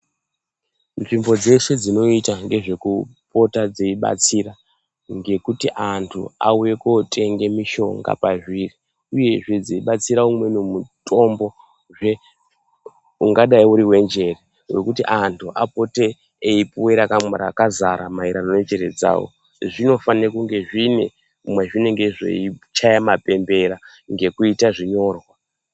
Nzvimbo dzeshe dzinoita ngezvekupota dzeibatsira ngekuti antu auye kotenga mishonga pazviri, uyezve dzeibatsira umweni mutombozve ungadai uriwejeko wekuti antu apote eipuwe rakazara maererano nenjere dzavo, zvinofane kunge zvine mwezvinonge zveichaye mapembera, ngekuita zvinyorwa.